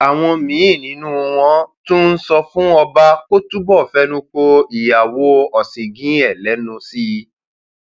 àwọn míín nínú wọn tún ń sọ fún ọba kó túbọ fẹnu ko ìyàwó ọṣìngín ẹ lẹnu sí i